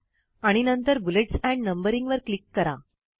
आणि नंतर bullets and numbering वर क्लिक करा